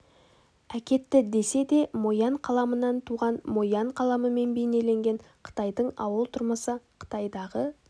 әкетті десе де мо ян қаламынан туған мо ян қаламымен бейнеленген қытайдың ауыл тұрмысы қытайдағы